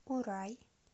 урай